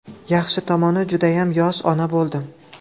Yaxshi tomoni, judayam yosh ona bo‘ldim.